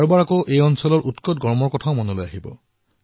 কিছুমান লোকে ইয়াৰ অত্যাধিক গৰমৰ বিষয়ে মনত পেলাব